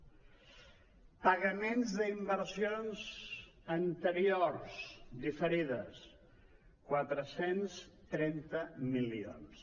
pagaments d’inversions anteriors diferides quatre cents i trenta milions